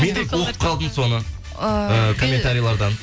мен де оқып қалдым соны ііі комментарилардан